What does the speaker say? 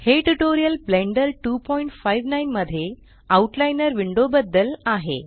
हे tutorial Blender 259 मध्ये outliner window बद्दल आहे